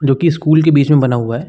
जो कि स्कूल के बीच में बना हुआ है।